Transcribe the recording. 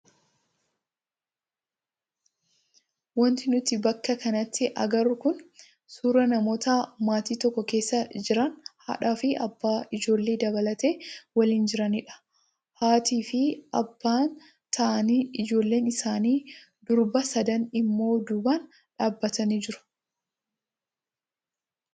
Wanti nuti bakka kanatti agarru kun suuraa namoota maatii tokko keessa jiran haadhaa fi abbaa ijoollee dabalatee waliin jiranidha. Haatii fi abbaan taa'anii ijoolleen isaanii durbaa sadan immoo duubaan dhaabbatanii jiru.